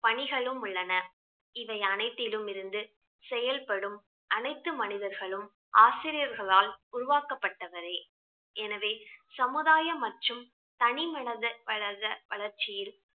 பணிகளும் உள்ளன இவை அனைத்திலும் இருந்து செயல்படும் அனைத்து மனிதர்களும் ஆசிரியர்களால் உருவாக்கப்பட்டவரே எனவே சமுதாயம் மற்றும் தனி மனித வளத~ வளர்ச்சியில்